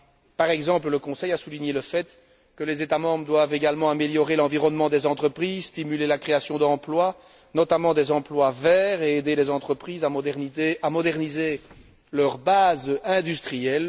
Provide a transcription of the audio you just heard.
Le Conseil a par exemple souligné que les États membres doivent également améliorer l'environnement des entreprises, stimuler la création d'emplois, notamment des emplois verts, et aider les entreprises à moderniser leur base industrielle.